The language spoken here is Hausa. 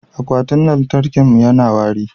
akwatin lantarkin mu yana wari